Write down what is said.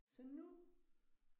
Så nu